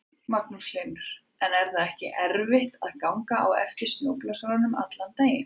Magnús Hlynur: En er það ekki erfitt að ganga á eftir snjóblásaranum allan daginn?